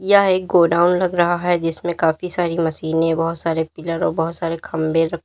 यह एक गोडाउन लग रहा है जिसमे काफी सारी मशीनें बहोत सारे पिलर और बहोत सारे खंभे र--